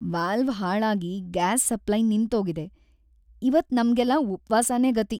Valve ಹಾಳಾಗಿ gas supply ನಿಂತೋಗಿದೆ, ಇವತ್ ನಮ್ಗೆಲ್ಲ ಉಪ್ವಾಸನೇ ಗತಿ.